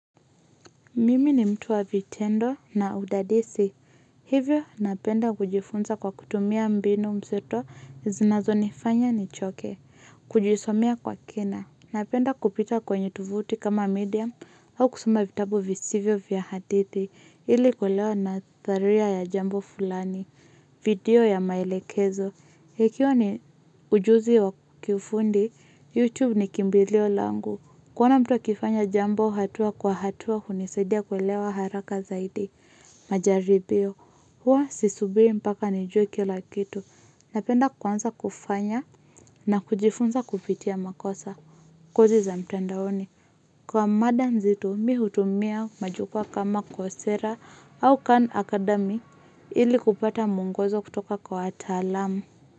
Mimi ni mtu wa vitendo na udadisi, hivyo napenda kujifunza kwa kutumia mbinu mseto zinazo nifanya ni choke, kujisomea kwa kina, napenda kupita kwenye tovuti kama medium au kusoma vitabu visivyo vya hadithi, ili kuelewa na dharia ya jambo fulani, video ya maelekezo. Ekiwa ni ujuzi wa kiufundi, YouTube ni kimbili olangu. Kuona mtu akifanya jambo hatua kwa hatua hunisadia kuelewa haraka zaidi. Majaribio, huwa sisubiri mpaka nijue kila kitu. Napenda kwanza kufanya na kujifunza kupitia makosa. Kozi za mtandaoni, kwa madanzito mimi hutumia majukwa kama kosera au kam akadami ili kupata muongozo kutoka kwa watalamu.